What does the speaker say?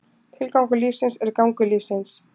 Tilgangur lífsins er gangur lífsins.